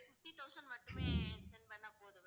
fifty thousand மட்டுமே send பண்ணா போதும்.